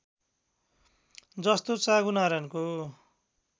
जस्तो चाँगुनारायणको